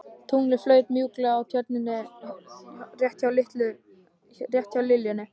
Tunglið flaut mjúklega á Tjörninni rétt hjá liljunni.